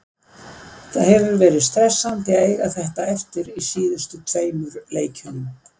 Það hefði verið stressandi að eiga þetta eftir í síðustu tveimur leikjunum.